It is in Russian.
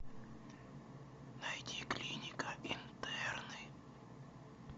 найди клиника интерны